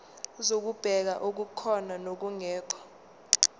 zokubheka okukhona nokungekho